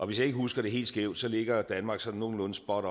hvis jeg ikke husker det helt skævt ligger danmark sådan nogenlunde spot